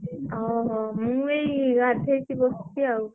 ଓହୋ। ମୁଁ ଏଇ ଗାଧେଇକି ବସଛି ଆଉ।